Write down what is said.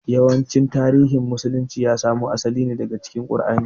Yawancin tarihin musulunci ya samo asali ne daga cikin ƙur'ani